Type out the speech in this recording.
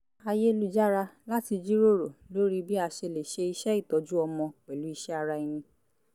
ayélujára láti jíròrò lórí bí a ṣe lè ṣe iṣẹ́ ìtọ́jú ọmọ pẹ̀lú iṣẹ́ ara ẹni